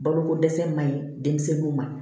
Balokodɛsɛ man ɲi denmisɛnninw ma